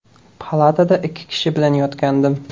Palatada ikki kishi bilan yotgandim.